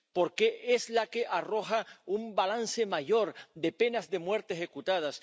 porque es la que arroja un balance mayor de penas de muerte ejecutadas